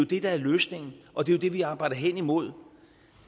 det der er løsningen og det er det vi arbejder hen imod